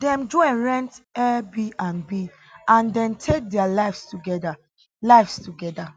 dem join rent airbnb and den take dia lives togeda lives togeda